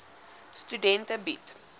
studente bied